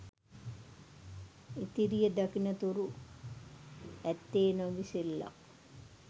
ඉතිරිය දකින තුරු ඇත්තේ නොඉවසිල්ලක්.